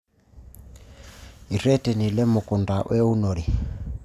Erreteni lemukunta weunore.